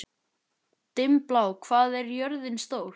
Dimmblá, hvað er jörðin stór?